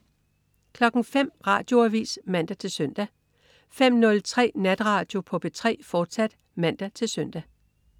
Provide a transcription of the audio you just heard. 05.00 Radioavis (man-søn) 05.03 Natradio på P3, fortsat (man-søn)